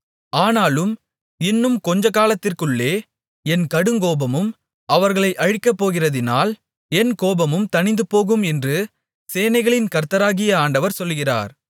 ஆனாலும் இன்னும் கொஞ்சக்காலத்திற்குள்ளே என் கடுங்கோபமும் அவர்களைச் அழிக்கப்போகிறதினால் என் கோபமும் தணிந்துபோகும் என்று சேனைகளின் கர்த்தராகிய ஆண்டவர் சொல்கிறார்